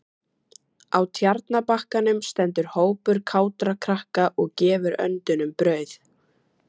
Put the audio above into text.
Á Tjarnarbakkanum stendur hópur kátra krakka og gefur öndunum brauð.